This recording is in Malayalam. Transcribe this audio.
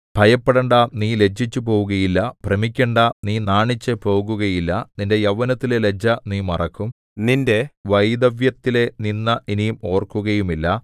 ഭയപ്പെടണ്ട നീ ലജ്ജിച്ചുപോവുകയില്ല ഭ്രമിക്കണ്ടാ നീ നാണിച്ചുപോകുകയില്ല നിന്റെ യൗവനത്തിലെ ലജ്ജ നീ മറക്കും നിന്റെ വൈധവ്യത്തിലെ നിന്ദ ഇനി ഓർക്കുകയുമില്ല